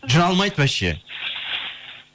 жүре алмайды вообще